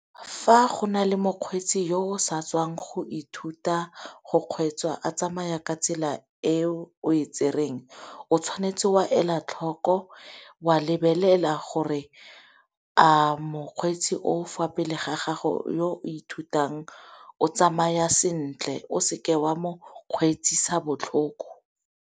fa go nale mokgweetsi yo o sa tswang go ithuta go kgweetsa a tsamaya ka tsela e o e tsereng o tshwanetse wa elatlhoko wa lebelela gore a mokgweetsi o fa pele ga gago yo o ithutang o tsamaya sentle o seke wa mokgweetsisa botlhoko.